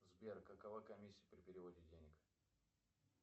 сбер какова комиссия при переводе денег